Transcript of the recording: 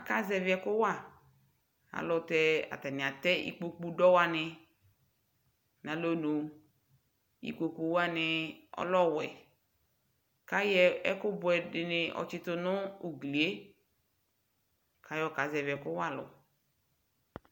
aka zɛvi ɛko wa ɛlutɛ atani atɛ ikpoku dɔ wani no alonu ikpoku wani ɔlɛ ɔwɛ ko ayɔ ɛko buɛ dini ɔtsito no ugli ye ko ayɔ kazɛvi ɛko wa alo